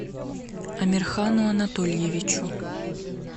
амирхану анатольевичу